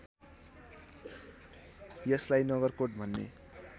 यसलाई नगरकोट भन्ने